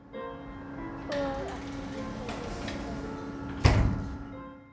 Og að því er virðist fleira.